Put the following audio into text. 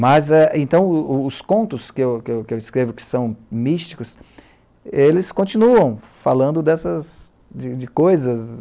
Mas, então, os contos que eu escrevo que são místicos, eles continuam falando dessas coisas,